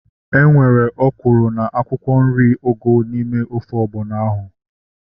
Enwere ọkwụrụ na akwụkwọ nri ugu n'ime ofe ọgbọnọ ahu